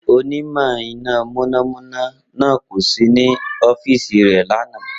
Onímọ̀ iná mọ̀nàmọ́ná náà kò sí ní ọ́fíìsì rẹ̀ lánàá.